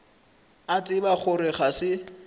a tseba gore ga se